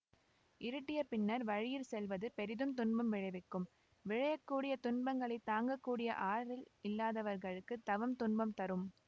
இருட்டிய பின்னர் வழியிற் செல்வது பெரிதும் துன்பம் விளைவிக்கும் விளையக் கூடிய துன்பங்களைத் தாங்க கூடிய ஆறல் இல்லாதவர்களுக்கு தவம் துன்பம் தரும்